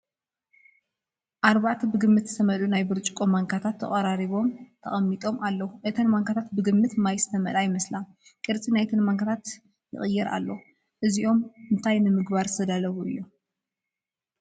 ኣርባዕተ ብግምት ዝተመልኡ ናይ ብርጭቆ ማንካታት ተቐራሪቦም ተገቐሚጦም ኣለዉ። እተን ማንካታት ብግምት ማይ ዝተመልኣ ይመስላ፣ ቅርጺ ናይተን ማንካታት ቕይር ኣሎ። እዚኦም እንታይ እንታይ ንምግባር ዝተዳለው እዩ?